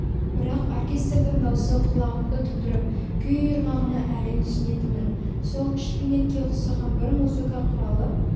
бірақ оркестрдің дауысы құлағымды тұндырып күй ырғағына әрең түсінетінмін сол шпинетке ұқсаған бір музыка құралы